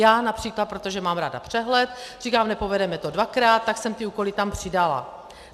Já například, protože mám ráda přehled, říkám, nepovedeme to dvakrát, tak jsem ty úkoly tam přidala.